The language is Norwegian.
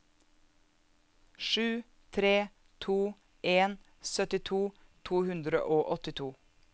sju tre to en syttito to hundre og åttito